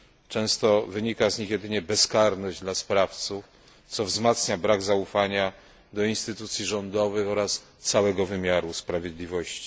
Często wynika z nich jedynie bezkarność dla sprawców, co wzmacnia brak zaufania do instytucji rządowych oraz całego wymiaru sprawiedliwości.